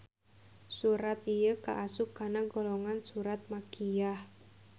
Surat ieu kaasup kana golongan surat makkiyah.